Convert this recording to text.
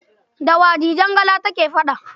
Da wa Dijangala take faɗa?